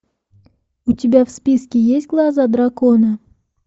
у тебя в списке есть глаза дракона